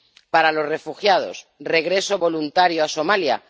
Para los refugiados, regreso voluntario a Somalia...